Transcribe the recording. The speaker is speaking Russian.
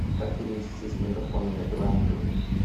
как перевести с мегафона на билайн деньги